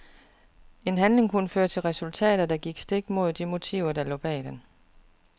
En handling kunne føre til resultater, der gik stik imod de motiver der lå bag den.